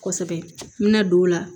Kosɛbɛ n bɛna don o la